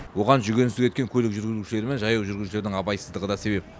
оған жүгенсіз кеткен көлік жүргізушілері мен жаяу жүргіншілердің абайсыздығы да себеп